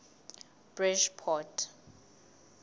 bridgeport